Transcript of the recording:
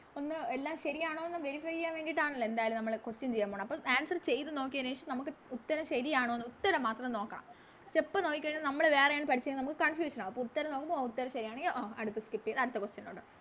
ഒന്ന് എല്ലാം ശെരിയാണോന്ന് Verify ചെയ്യാൻ വേണ്ടിട്ടാണല്ലോ എന്തായാലും നമ്മള് Question ചെയ്യാൻ പോണേ അപ്പോൾ Answer ചെയ്ത നോക്കിയെന് ശേഷം നമുക്ക് ഉത് ഉത്തരം ശെരിയാണോന്ന് ഉത്തരം മാത്രം നോക്കണം Step നോക്കി കഴിഞ്ഞ നമ്മള് വേറെയാണ് പഠിച്ചെന്ന് നമുക്ക് Confusion ആകും അപ്പൊ ഉത്തരം നോക്കുമ്പോ ഉത്തരം ശെരിയാണെങ്കി ആ അടുത്ത Skip ചെയ്ത അടുത്ത Question ലോട്ട്